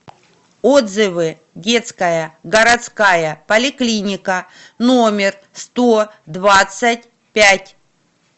отзывы детская городская поликлиника номер сто двадцать пять